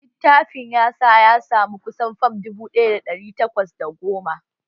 Litafin ya sa ya samu kusan fam dubu ɗaya da ɗari takwas da goma